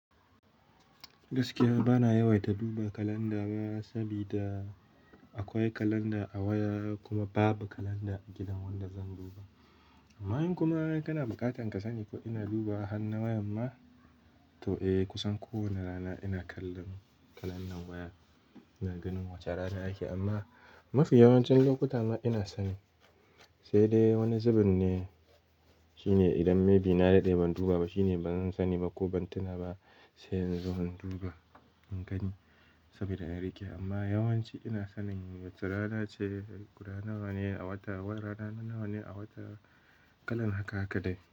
Gaskiya ba na yawaita duba kalanda ba, saboda akwai kalanda a waya kuma babu kalanda a gidan wanda zan duba. Amma in kuma kana buƙatar ka sani ko ina duba har na waya ma, to eh kusan kowane rana ina kallon kalan nan waya. Ina ganin wace rana ake amma mafi yawancin lokuta ma ina sani. Sai dai wani zubin ne, shine idan maybe na daɗe ban duba ba shine ba zan sani ba ko ban tuna ba, sai in zo in duba in gani saboda na riƙe. Amma yawanci ina sanin wace rana ce, guda nawa ne a wata, wayar rana nawa ne a wata, kalan haka haka dai.